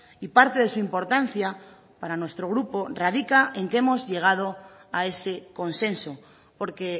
y parte de su importancia para nuestro grupo radica en que hemos llegado a ese consenso porque